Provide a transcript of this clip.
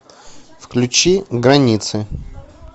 включи границы